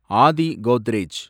Aadhi Godrej